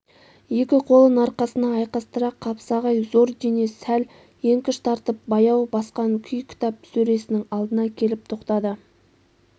екі қолын арқасына айқастыра қапсағай зор денес сәл еңкіш тартып баяу басқан күй кітап сөресінің алдына келіп тоқтады